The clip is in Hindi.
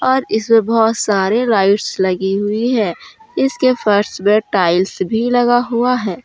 और इसमें बहोत सारे लाइट्स लगी हुई है इसके फर्श में टाइल्स भी लगा हुआ है।